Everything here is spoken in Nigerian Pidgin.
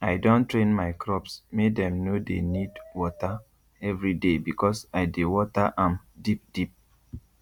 i don train my crops make dem no dey need water everyday because i dey water am deep deep